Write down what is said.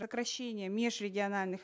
сокращение межрегиональных